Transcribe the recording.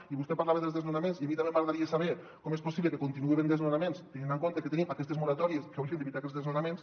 i vostè parlava de desnonaments i a mi també m’agradaria saber com és possible que hi continuï havent desnonaments tenint en compte que tenim aquestes moratòries que haurien d’evitar aquests desnonaments